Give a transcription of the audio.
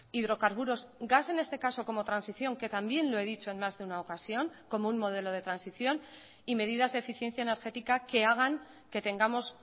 hidrocarburos gas en este caso como transición que también lo he dicho en más de una ocasión como un modelo de transición y medidas de eficiencia energética que hagan que tengamos